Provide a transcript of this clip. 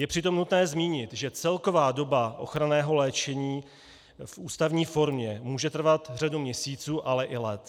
Je přitom nutné zmínit, že celková doba ochranného léčení v ústavní formě může trvat řadu měsíců, ale i let.